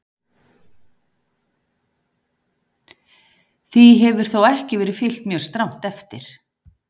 Því hefur þó ekki verið fylgt mjög strangt eftir.